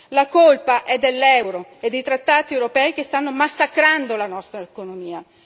La colpa è dell'euro e dei trattati europei che stanno massacrando la nostra economia.